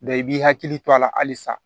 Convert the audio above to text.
i b'i hakili to a la halisa